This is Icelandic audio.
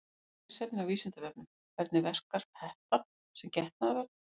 Frekara lesefni á Vísindavefnum: Hvernig verkar hettan sem getnaðarvörn?